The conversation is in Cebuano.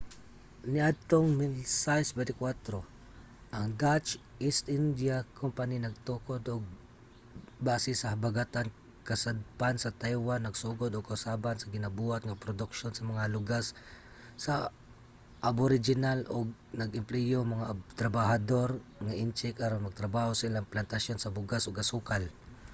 niadtong 1624 ang dutch east india company nagtukod og base sa habagatan-kasadpan sa taiwan nagsugod og kausaban sa ginabuhat nga produksyon sa mga lugas sa aboriginal ug nag-empleyo og mga trabahador nga intsik aron magtrabaho sa ilang plantasyon sa bugas ug asukal